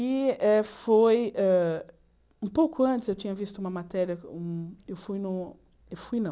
E eh foi hã... Um pouco antes eu tinha visto uma matéria... Eu fui no... Eu fui, não.